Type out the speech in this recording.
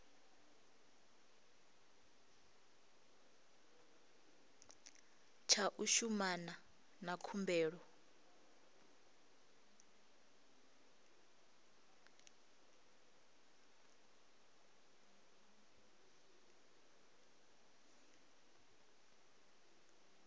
tsha u shumana na khumbelo